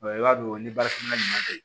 i b'a dɔn ni baarakɛminɛna ɲuman tɛ